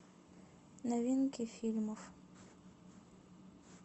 новинки фильмов